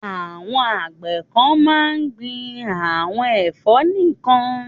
Àwọn àgbẹ̀ kan máa ń gbin àwọn ẹ̀fọ́ nìkan.